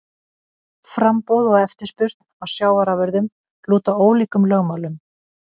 Framboð og eftirspurn á sjávarafurðum lúta ólíkum lögmálum.